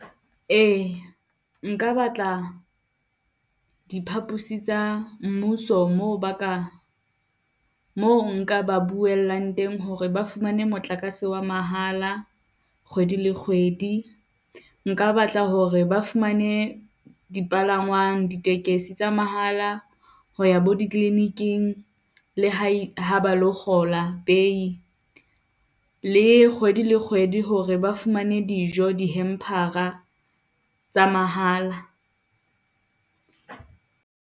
Eya, nka batla diphapusing tsa mmuso, moo ba ka, moo nka ba buellang teng hore ba fumane motlakase wa mahala kgwedi le kgwedi. Nka batla hore ba fumane dipalangwang, ditekesi tsa mahala ho ya bo dikliniking, le ha ha ba o kgola pei. Le kgwedi le kgwedi, hore ba fumane dijo di-hamper-a tsa mahala.